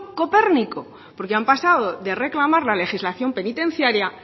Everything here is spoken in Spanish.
copérnico porque han pasado de reclamar la legislación penitenciaria